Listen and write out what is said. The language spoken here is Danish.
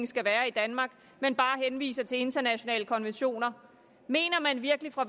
skal være i danmark men bare henviser til internationale konventioner mener man virkelig fra